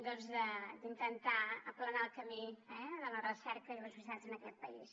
d’intentar aplanar el camí de la recerca i les universitats en aquest país